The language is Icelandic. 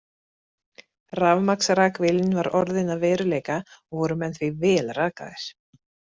Rafmagnsrakvélin var orðin að veruleika og voru menn því vel rakaðir.